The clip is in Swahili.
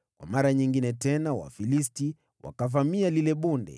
Kwa mara nyingine Wafilisti wakavamia lile bonde;